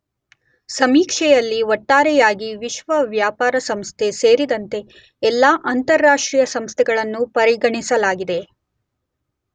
ಸಮೀಕ್ಷೆಯಲ್ಲಿ ಒಟ್ಟಾರೆಯಾಗಿ ವಿಶ್ವ ವ್ಯಾಪಾರ ಸಂಸ್ಥೆ ಸೇರಿದಂತೆ ಎಲ್ಲ ಅಂತರರಾಷ್ಟ್ರೀಯ ಸಂಸ್ಥೆಗಳನ್ನು ಪರಿಗಣಿಸಲಾಗಿದೆ.